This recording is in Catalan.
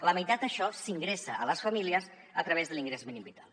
la meitat d’això s’ingressa a les famílies a través de l’ingrés mínim vital